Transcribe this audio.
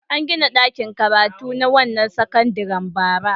An gina ɗakin karatu na wannan sakandaren bara.